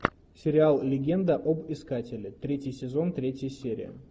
сериал легенда об искателе третий сезон третья серия